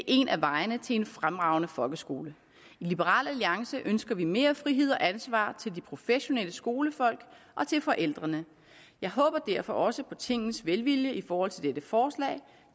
en af vejene til en fremragende folkeskole i liberal alliance ønsker vi mere frihed og ansvar til de professionelle skolefolk og til forældrene jeg håber derfor også på tingets velvilje i forhold til dette forslag